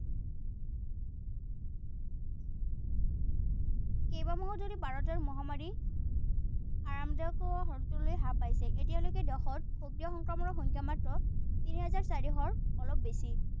কেইবামাহো ধৰি ভাৰতৰ মহামাৰী হ্ৰাস পাইছে। এতিয়ালৈকে দেশত সক্ৰিয় সংক্ৰমণৰ সংখ্যা মাত্ৰ তিনি হাজাৰ চাৰিশৰ অলপ বেছি।